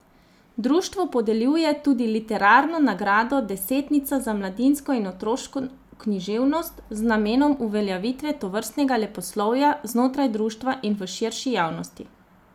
Društvo podeljuje tudi literarno nagrado desetnica za mladinsko in otroško književnost z namenom uveljavitve tovrstnega leposlovja znotraj društva in v širši javnosti.